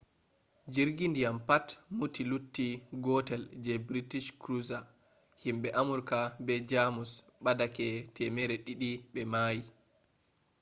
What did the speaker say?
jirgi ndiyam pat muti lutti gootel je british cruiser. himbe amurka be germus badake 200 be mayi